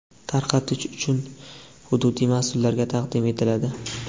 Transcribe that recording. tarqatish uchun hududiy masʼullarga taqdim etiladi.